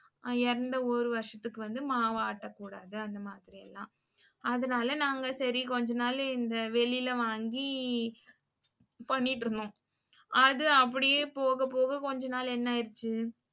இறந்த ஒரு வருஷத்துக்கு வந்து மாவு ஆட்ட கூடாது அந்த மாதிரில்லாம் அதுனால நாங்க சரி கொஞ்ச நாளு இந்த வெளில வாங்கி பண்ணிட்டு இருந்தோம். அது அப்படியே போக போக கொஞ்ச நாள் என்னாய்ருச்சு